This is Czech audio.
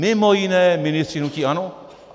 Mimo jiné ministři hnutí ANO.